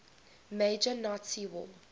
major nazi war